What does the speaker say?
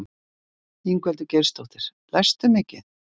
Ingveldur Geirsdóttir: Lestu mikið?